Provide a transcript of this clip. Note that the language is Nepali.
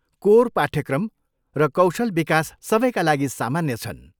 कोर पाठ्यक्रम र कौशल विकास सबैका लागि सामान्य छन्।